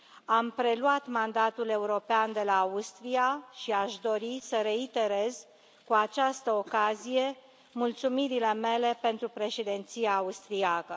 Am preluat mandatul european de la Austria și aș dori să reiterez cu această ocazie mulțumirile mele pentru Președinția austriacă.